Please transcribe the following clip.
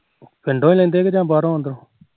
ਪਿੰਡੋ ਲੈਂਦੇ ਜਾ ਬਾਹਰੋ